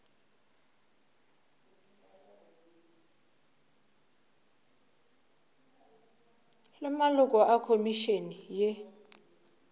le maloko a khomišene ye